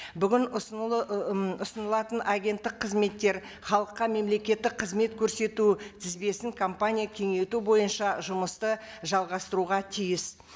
бүгін ы м ұсынылатын агенттік қызметтер халыққа мемлекеттік қызмет көрсету тізбесін компания кеңейту бойынша жұмысты жалғастыруға тиіс